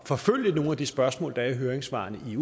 forfølge nogle af de spørgsmål der er i høringssvarene i